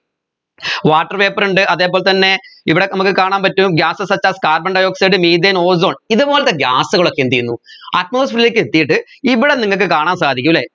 water vapour ഉണ്ട് അതേപോലെ തന്നെ ഇവിടെ നമ്മുക്ക് കാണാൻ പറ്റും gas such as carbon dioxide methane ozone ഇതുപോലത്തെ gas ഉകളൊക്കെ എന്ത് ചെയ്യുന്നു atmosphere ലേക്ക് എത്തിയിട്ട് ഇവിടെ നിങ്ങൾക്ക് കാണാൻ സാധിക്കും അല്ലെ